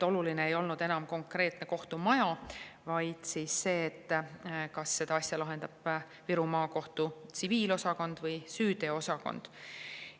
Oluline ei olnud enam konkreetne kohtumaja, vaid see, kas asja lahendab Viru Maakohtu tsiviilosakond või süüteoosakond.